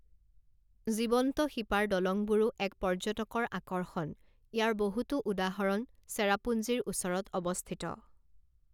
জীৱন্ত শিপাৰ দলংবোৰো এক পৰ্য্যটকৰ আকৰ্ষণ, ইয়াৰ বহুতো উদাহৰণ চেৰাপুঞ্জীৰ ওচৰত অৱস্থিত।